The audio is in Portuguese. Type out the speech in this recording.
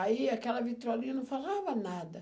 Aí aquela vitrolinha não falava nada.